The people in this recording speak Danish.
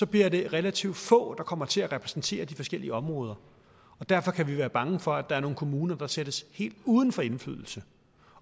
bliver det relativt få der kommer til at repræsentere de forskellige områder og derfor kan vi være bange for at der er nogle kommuner der sættes helt uden for indflydelse